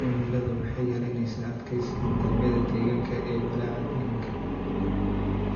cimiladu waxay yaraynaysaa adkeysiga nidaamyada deegaanka ee walaaca deegaanka.